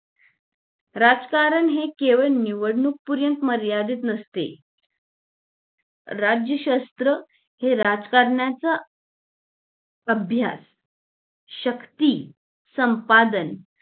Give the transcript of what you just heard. राजकारण हे केवळ निवडणूक पर्यंत मर्यादित नसते राज्य शस्त्र हे राजकारणाचा अभ्यास शक्ती संपादन